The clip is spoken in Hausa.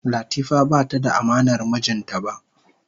Latifa bata da amanar mijinta ba.